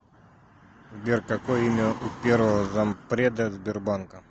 сбер какое имя у первого зампреда сбербанка